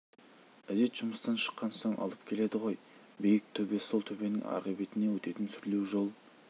ізет жұмыстан шыққан соң алып келеді ғой биік төбе сол төбенің арғы бетіне өтетін сүрлеу жол